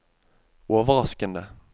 overraskende